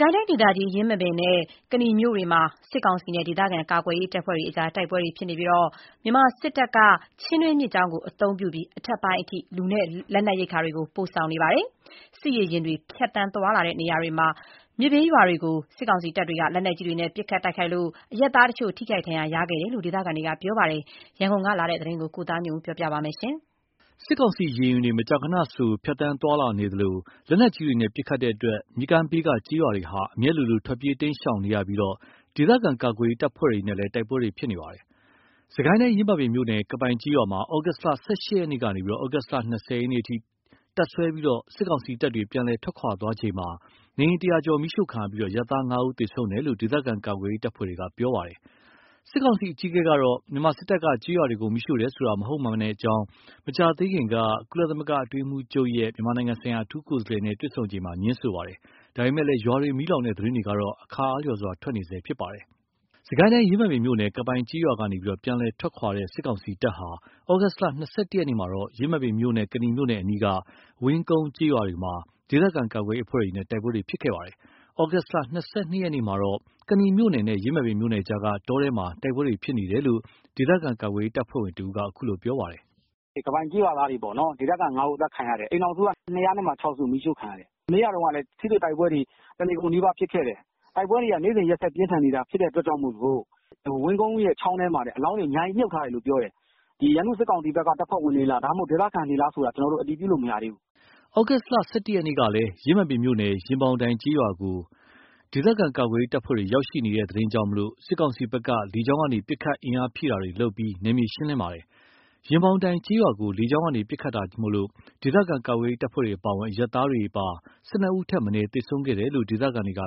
ကိုင်းတိုင်းဒေသကြီး ယင်းမာပင်မြို့နဲ့ကနီမြို့တွေမှာ စစ်ကောင်စီနဲ့ ဒေသခံကာကွယ်ရေးတပ်ဖွဲ့တွေကြား တိုက်ပွဲတွေဖြစ်နေပြီး မြန်မာစစ်တပ်က ချင်းတွင်းမြစ်ကြောင်းကိုသုံးပြီး အထက်ပိုင်းအထိ လူနဲ့လက်နက်ရိက္ခာတွေ ပို့ဆောင်နေပါတယ်။ စစ်ရေယာဉ်တွေ ဖြစ်သွားတဲ့နေရာတွေမှာ မြစ်ဘေးရွာတွေကို လက်နက်ကြီးတွေနဲ့ ပစ်ခတ်တိုက်ခိုက်တဲ့အတွက် အရပ်သားတချို့ ထိခိုက်ဒဏ် ရရတဲ့အကြောင်း ဒေသခံတွေက ပြောပါတယ်။ ရန်ကုန်ကပေးပို့လာတဲ့သတင်းကို ကိုသားညွန့်ဦးက တင်ပြပေးထားပါတယ်။ စစ်ကိုင်းတိုင်း ယင်းမာပင် မြို့နယ် ကပိုင်ကျေးရွာမှာ သြဂုတ် ၁၈ ရက်ကနေ သြဂုတ်လ ၂၀ ရက်အထိ တပ်စွဲပြီး စစ်ကောင်စီတပ်တွေ ပြန်လည်ထွက်ခွာသွားချိန်မှာ နေအိမ် ၁၀၀ ကျော်မီးရှို့ခံရပြီး အရပ်သား ၅ ဦးသေဆုံးတယ်လို့ ဒေသခံကာကွယ်ရေး တပ်ဖွဲ့တွေက ပြောပါတယ်။ စစ်ကောင်စီအကြီးအကဲကတော့ မြန်မာစစ်တပ်က ကျေးရွာတွေကိုမီးရှို့တယ်ဆိုတာ မဟုတ်မှန်ကြောင်း မကြာသေးခင်က ကုလသမဂ္ဂအတွင်းရေးမှူးချုပ်ရဲ့ မြန်မာနိုင်ငံဆိုင်ရာ အထူးကိုယ်စားလှယ် နဲ့ တွေ့ဆုံချိန်မှာ ငြင်းဆိုထားပါတယ်။ ဒါပေမယ့်လည်း ရွာတွေ မီးလောင်တဲ့သတင်းတွေကတော့ အခါအားလျှော်စွာ ထွက်နေဆဲဖြစ်ပါတယ်။ စစ်ကိုင်းတိုင်း ယင်းမာပင်မြို့နယ် ကပိုင်ကျေးရွာကနေ ပြန်လည်ထွက်ခွါတဲ့ စစ်ကောင်စီတပ်ဟာ သြဂုတ် ၂၁ ရက်မှာတော့ ယင်းမာပင်မြို့နဲ့ ကနီမြို့နယ်အနီးက ဝင်းကုန်းကျေးရွာတွေမှာ ဒေသခံကာကွယ်ရေးအဖွဲ့တွေနဲ့ တိုက်ပွဲတွေဖြစ်ခဲ့ပါတယ်။ သြဂုတ် ၂၂ ရက် မှာတော့ ကနီမြို့နယ်နဲ့ ယင်းမာပင်မြို့နယ်ကြားက တောတိုက်ထဲမှာ တိုက်ပွဲတွေ ဖြစ်နေတယ်လို့ ဒေသခံကာကွယ်ရေးတပ်ဖွဲ့ဝင် တဦးက အခုလိုပြောပါတယ်။ “ကပိုင်ကျေးရွာသားတွေ ဒေသခံ ၅ ဦး အသတ်ခံရတယ်။ အိမ်ထောင်စုက ၂၀၆ စု မီးရှို့ခံရတယ်။ မနေ့ကတုန်းကလည်း ထိတွေ့တိုက်ပွဲတွေ တနေကုန်နီးပါး ဖြစ်ခဲ့တယ်။ တိုက်ပွဲတွေက နေ့စဉ်ရက် ဆက်ဖြစ်နေတာမို့လို့ ဝင်းကုန်းချောင်းထဲမှာလည်း အလောင်းတွေမြှုပ်ထားတယ်ပြောတယ်။ ရန်သူ စစ်ကောင်စီဘက်က တပ်ဖွဲ့ဝင်တွေလား ဒေသခံတွေလားဆိုတာတော့ ကျနော်တို့ အတည်ပြုလို့ မရသေးဘူး။" သြဂုတ် ၁၁ ရက်ကလည်း ယင်းမာပင်မြို့နယ် ရင်ပေါင်တိုင်ကျေးရွာကို ဒေသခံကာကွယ်ရေး တပ်ဖွဲ့တွေ ရောက်ရှိနေတဲ့သတင်းကြောင့် စစ်ကောင်စီဘက်က လေကြောင်းက ပစ်ခတ် အင်အားဖြည့် တင်းတာတွေ လုပ်ပြီး နယ်မြေရှင်းလင်းခဲ့ပါတယ်။ ရင်ပေါင်တိုင်ကျေးရွာကို လေကြောင်းကနေ ပစ်ခတ်တာကြောင့် ဒေသခံကာကွယ်ရေး တပ်ဖွဲ့တွေ အပါအဝင် အရပ်သားတွေပါ ၁၂ ဦးထက်မနည်း သေဆုံးခဲ့တယ်လို့ ဒေသခံတွေက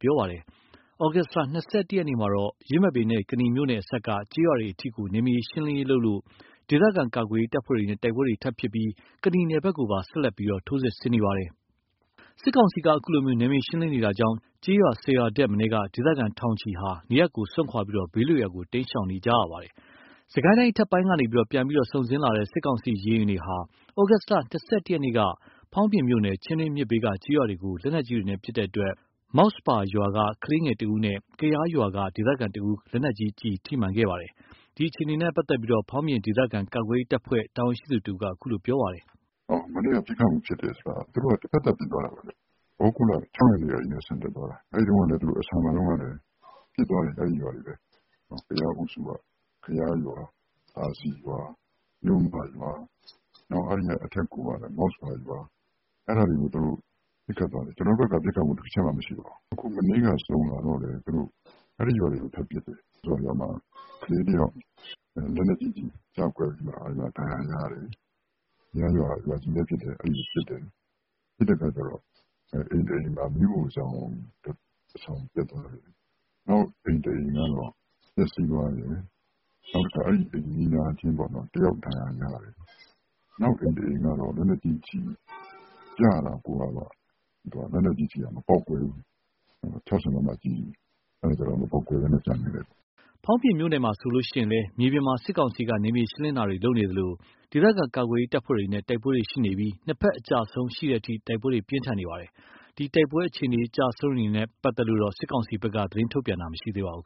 ပြောပါတယ်။ သြဂုတ် ၂၁ ရက်မှာတော့ ယင်းမာပင်နဲ့ကနီမြို့နယ်အစပ်က ကျေးရွာတွေအထိ နယ်မြေရှင်းလင်းရေးလုပ်လို့ ဒေသခံကာကွယ်ရေး တပ်ဖွဲ့တွေနဲ့ တိုက်ပွဲတွေဖြစ်ပွားပြီး ကနီနယ်ဘက်ကိုပါ ဆက်လက်ပြီး ထိုးစစ်ဆင်နေပါတယ်။ စစ်ကောင်စီက အခုလိုနယ်မြေရှင်းလင်းနေတာကြောင့် ကျေးရွာ ၁၀ ရွာ ထက်မနည်းက ဒေသခံထောင်ချီဟာ နေရပ်ကိုစွန့်ခွါပြီး ဘေးလွတ်ရာကို တိမ်းရှောင်နေရပါတယ်။ စစ်ကိုင်းတိုင်းအထက်ပိုင်းကနေ ပြန်ပြီး စုန်ဆင်းလာတဲ့ စစ်ကောင်စီ ရေယာဉ်တွေဟာ သြဂုတ်လ ၂၁ ရက်က ဖောင်းပြင်မြို့နယ် ချင်းတွင်းမြစ်ဘေးက ကျေးရွာတွေကို လက်နက်ကြီးတွေနဲ့ ပစ်ခတ်တဲ့အတွက် မောက်စဖာရွာက ကလေးငယ် ၁ ဦးနဲ့ ကရားရွာက ဒေသခံတဦး လက်နက်ကြီး ကျဉ်ထိမှန် ခဲ့ပါတယ်။ ဒီအခြေအနေနဲ့ ပတ်သက်လို့ ဖောင်းပြင်ဒေသခံကာကွယ်ရေးတပ်ဖွဲ့က တာဝန်ရှိသူတဦးက အခုလို ပြောပါတယ်။ “မနေ့က ပစ်ခတ်တယ်ဆိုတာ သူတို့က တဖက်သတ်ပစ်ခတ်သွားတာပါ။ သြဂုတ်လ ၆ ရက် ကတည်းက ဆန်တက်သွားတာ။ အဆန်မှာတုန်းကလည်း ပစ်သွားတယ်။ အဲ့ဒီရွာတွေပဲ ကရားအုပ်စုက ကရားရွာ၊ သာစည်ရွာ၊ မြို့မရွာ အဲ့ဒီ့ကအထက် မောက်စဖာရွာ၊ အဲ့ဒါတွေကို သူတို့ပစ်ခတ် သွားတယ်။ ကျနော်တို့ဘက်က ပစ်ခတ်မှု တချက်မှမရှိပါဘူး။ အခု မနေ့က စုန်လာတော့လည်း အဲ့ဒီရွာတွေကို ထပ်ပစ်တယ်။ မောက်စဖာရွာမှာ ကလေးတယောက် လက်နက်ကြီးကျည်ကျကွဲပြီးမှ ဒဏ်ရာရတယ်။ ကရားရွာက ရွာကြီးလည်းဖြစ်တယ်။အဲ့ကိုပစ်တယ်။ ပစ်တဲ့အခါကျတော့ အိမ်တအိမ် မီးဖိုးချောင် တဆောင် ပျက်သွားတယ်။ နောက်အိမ်တအိမ်ကတော့ ပျက်စီးသွားတယ်။ နောက်အိမ်နီးနားချင်းက ဒဏ်ရာရတယ်။ နောက်အိမ်တအိမ်ကတော့ လက်နက်ကြီးကျည်ကျတာ ၆၀ မမ ကျည် မပေါက်ကွဲဘဲ ကျန်ခဲ့တယ်။” ဖောင်းပြင်မြို့နယ်မှာဆိုရင်လည်း မြေပြင်မှာ စစ်ကောင်စီက နယ်မြေရှင်းလင်းနေသလို ဒေသခံကာကွယ်ရေး ကာကွယ်ရေးတပ်ဖွဲ့တွေနဲ့ တိုက်ပွဲတွေရှိနေပြီး ၂ ဘက်အကျအဆုံးတွေရှိတဲ့အထိ တိုက် ပွဲတွေ ပြင်းထန်နေပါတယ်။ ဒီတိုက်ပွဲအခြေအနေ အကျအဆုံးတွေနဲ့ ပတ်သက်လို့တော့ စစ်ကောင်စီဘက်က သတင်းထုတ်ပြန်တာတော့ မရှိသေးပါဘူး